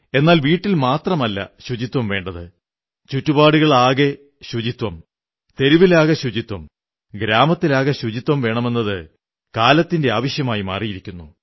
എന്നാൽ വീട്ടിൽ മാത്രമല്ല ശുചിത്വം വേണ്ടത് ചുറ്റുപാടുകളാകെ ശുചിത്വം തെരുവിലാകെ ശുചിത്വം ഗ്രാമത്തിലാകെ ശുചിത്വം വേണമെന്നത് കാലത്തിന്റെ ആവശ്യമായിരിക്കുന്നു